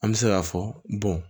An bɛ se k'a fɔ